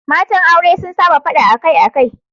Matan aure sun saba fada akai-akai.